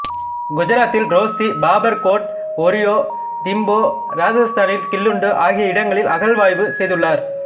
குசராத்தில் ரோச்தி பாபர் கோட் ஒரியோ திம்போ இராசத்தானில் கிலுண்டு ஆகிய இடங்களில் அகழ்வாய்வு செய்துள்ளார்